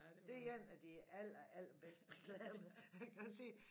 Det en af de aller aller besdte reklamer